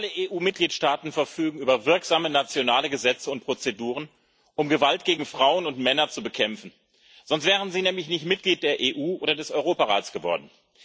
Alle EU Mitgliedstaaten verfügen über wirksame nationale Gesetze und Prozeduren, um Gewalt gegen Frauen und Männer zu bekämpfen sonst wären sie nämlich nicht Mitglied der EU oder des Europarats geworden.